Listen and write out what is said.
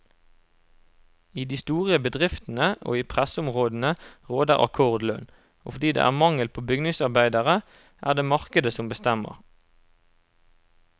I de store bedriftene og i pressområdene råder akkordlønn, og fordi det er mangel på bygningsarbeidere er det markedet som bestemmer.